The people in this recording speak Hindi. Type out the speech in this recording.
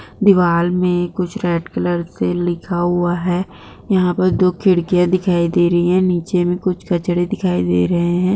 दीवार मे कुच्छ रेड कलर सा लिखा हुआ है यहा पर दो खिड़किया दिखाई दे रही है नीचे मे कुछ कचरे दिखाई दे रहे है।